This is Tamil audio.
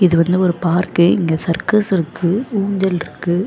இது வந்து ஒரு பார்க்கு இங்க சர்க்கஸ் இருக்கு ஊஞ்சல் இருக்கு.